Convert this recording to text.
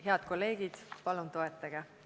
Head kolleegid, palun toetage!